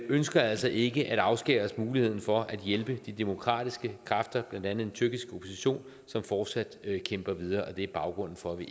ønsker altså ikke at afskære os muligheden fra at hjælpe de demokratiske kræfter blandt andet den tyrkiske opposition som fortsat kæmper videre det er baggrunden for at vi